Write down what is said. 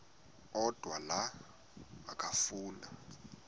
odwa la okafuna